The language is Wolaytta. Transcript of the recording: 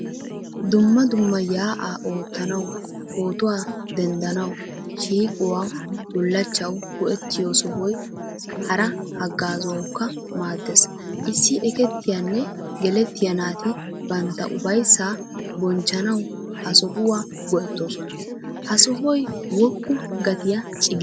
Dumma dumma ya"a oottanawu, pootuwaa denddanawu, shiiquwawu bullachchawu go"ettiyo sohoy hara haggazzawukka maaddees. Issi ekkettiyanne gelettiya naati bantta ufayssaa bochchanawu ha sohuwaa goettoosona. Ha sohoy woqqu gattiyaa ciggisi?